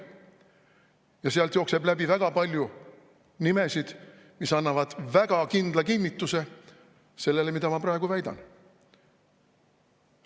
Ja sealt jookseb läbi väga palju nimesid, mis annavad väga kindla kinnituse sellele, mida ma praegu väidan.